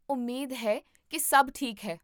ਉਮੀਦ ਹੈ ਕੀ ਸਭ ਠੀਕ ਹੈ